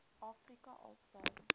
afrika al sou